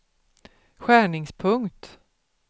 skärningspunkt